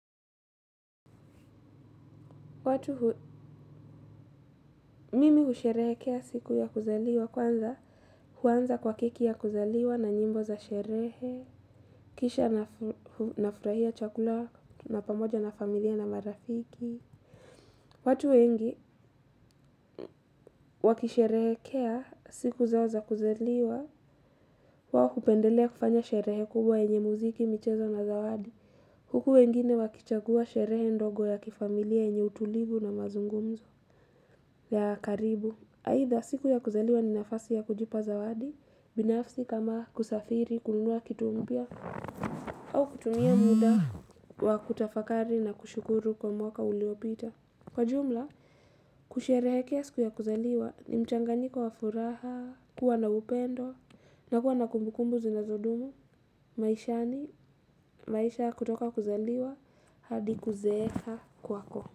Mimi husherehekea siku ya kuzaliwa kwanza huanza kwa keki ya kuzaliwa na nyimbo za sherehe, kisha nafurahia chakula na pamoja na familia na marafiki. Watu wengi wakisherehekea siku zao za kuzaliwa wao hupendelea kufanya sherehe kubwa enye muziki michezo na zawadi. Huku wengine wakichagua sherehe ndogo ya kifamilia enye utulivu na mazungumzo ya karibu. Aidha siku ya kuzaliwa ni nafasi ya kujipa zawadi binafsi kama kusafiri kununua kitu mpya au kutumia muda wa kutafakari na kushukuru kwa mwaka uliopita. Kwa jumla, kusherehekea siku ya kuzaliwa ni mchanganyiko wa furaha, kuwa na upendo na kuwa na kumbukumbu zinazodumu. Maisha ya kutoka kuzaliwa hadi kuzeeka kwako.